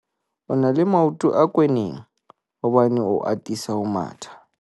o na le maoto a kwenneng hobane o atisa ho matha